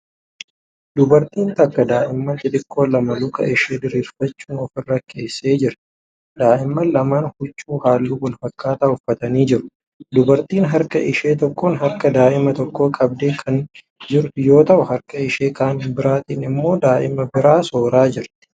Dubartiin takka daa'imman xixiqqoo lama luka ishee diriirfachuun ofirra keessee jirti. Daa'imman lamaan huccuu halluu wal fakkaataa uffatanii jiru. Dubartittiin harka ishee tokkoon harka daa'ima tokkoo qabdee kan jirtu yoo ta'u, harka ishee kan biraatin immoo daa'ima biraa sooraa jirti.